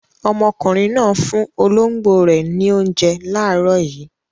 Ọmọkùnrin náà fún olóńgbò rẹ̀ ní oúnjẹ láàárọ̀ yìí.